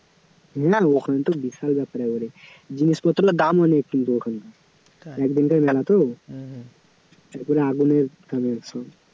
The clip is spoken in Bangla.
না, ওখানে তো বিশাল ব্যাপার একেবারে, জিনিসপত্রের দাম অনেক কিন্তু ওখানে, একদিনকার মেলা তো তারপরে আগুনের দামের সব